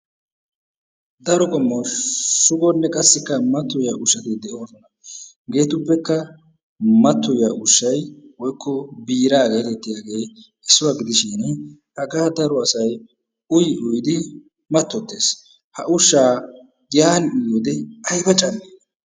Daro qommo shugonne qassikka mattoyiyaa ushshatti de'oosona. Hegeettuppekka matoyiya ushshay woikko biiraa getettiyaagee issuwa gidishin hagaa daro asay uyi uyidi matotees. Ha ushshaa yaani uyiyoode ayba cammi?